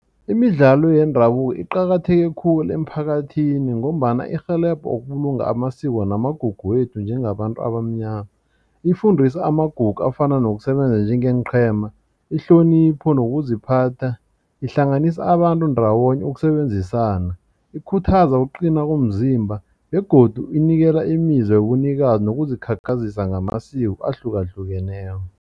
Imidlalo yendabuko iqakatheke khulu emphakathini ngombana irhelebho ukubulunga amasiko namagugu wethu njengabantu abamnyana. Ifundisa amagugu afana nokusebenza njengeenqhema ihlonipho nokuziphatha, ihlanganisa abantu ndawonye ukusebenzisana ikhuthaza kuqina komzimba begodu inikela imizwa wobunikazi nokuzikhakhazisa ngamasiko ahlukahlukeneko.